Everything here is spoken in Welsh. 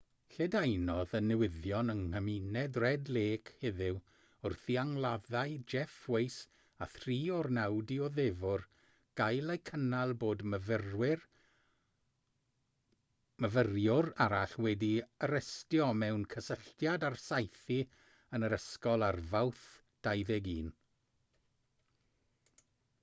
lledaenodd y newyddion yng nghymuned red lake heddiw wrth i angladdau jeff waise a thri o'r naw dioddefwr gael eu cynnal bod myfyriwr arall wedi'i arestio mewn cysylltiad â'r saethu yn yr ysgol ar fawrth 21